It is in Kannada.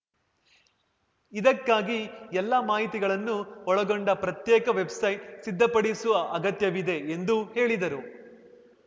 ಇದಕ್ಕಾಗಿ ಎಲ್ಲಾ ಮಾಹಿತಿಗಳನ್ನು ಒಳಗೊಂಡ ಪ್ರತ್ಯೇಕ ವೆಬ್‌ಸೈಟ್‌ ಸಿದ್ಧಪಡಿಸುವ ಅಗತ್ಯವಿದೆ ಎಂದು ಹೇಳಿದರು